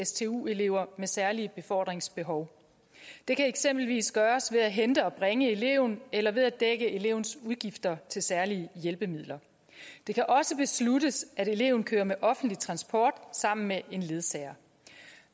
stu elever med særlige befordringsbehov det kan eksempelvis gøres ved at hente og bringe eleven eller ved at dække elevens udgifter til særlige hjælpemidler det kan også besluttes at eleven kører med offentlig transport sammen med en ledsager